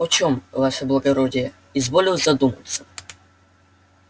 о чём ваше благородие изволил задуматься